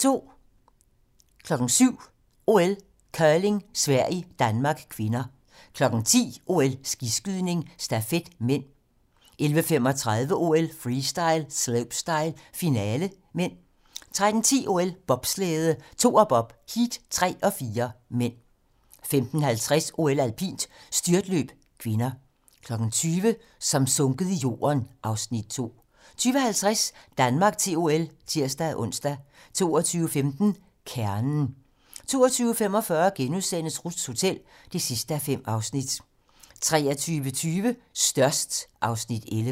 07:00: OL: Curling - Sverige-Danmark (k) 10:00: OL: Skiskydning - stafet (m) 11:35: OL: Freestyle - slopestyle, finale (m) 13:10: OL: Bobslæde - Toerbob, heat 3 og 4 (m) 15:50: OL: Alpint - styrtløb (k) 20:00: Som sunket i jorden (Afs. 2) 20:50: Danmark til OL (tir-ons) 22:15: Kernen 22:45: Ruths hotel (5:5)* 23:20: Størst (Afs. 11)